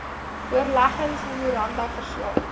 voorleggings memoranda verslae